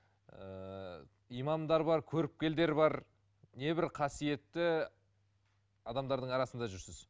ыыы имамдар бар көріпкелдер бар небір қасиетті адамдардың арасында жүрсіз